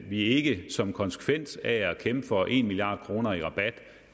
vi ikke som konsekvens af at kæmpe for en milliard kroner i rabat